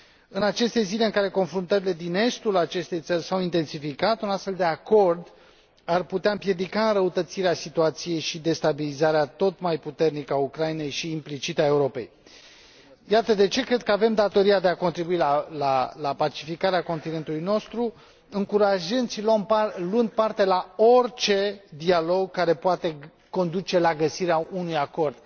În aceste zile în care confruntările din estul acestei țări s au intensificat, un astfel de acord ar putea împiedica înrăutățirea situației și destabilizarea tot mai puternică a Ucrainei și, implicit, a Europei. Iată de ce cred că avem datoria de a contribui la pacificarea continentului nostru, încurajând și luând parte la orice dialog care poate conduce la găsirea unei acord.